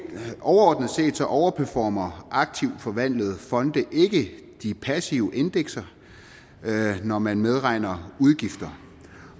overperformer aktivt forvaltede fonde ikke de passive indekser når man medregner udgifter